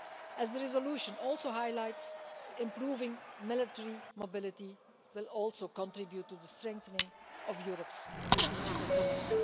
As the resolution also highlights, improving military mobility will also contribute to strengthening Europe's strategic autonomy.